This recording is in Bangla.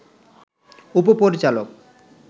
উপ-পরিচালক